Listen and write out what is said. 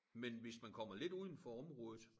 Men hvis man kommer lidt udenfor området